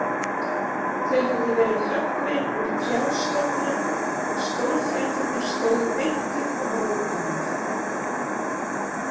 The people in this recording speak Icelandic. Þau höfðu verið höggvin úr trjástofnum og stólfæturnir stóðu beint upp af rótunum.